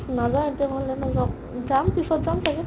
নাযাও এতিয়া ঘৰলৈ নাযাও অ যাম পিছত যাম চাগে